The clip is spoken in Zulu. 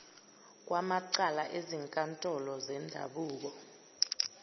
kwamacala ezinkantolo zendabuko